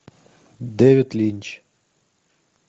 дэвид линч